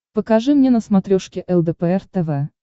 покажи мне на смотрешке лдпр тв